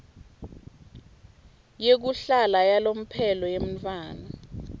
yekuhlala yalomphelo yemntfwana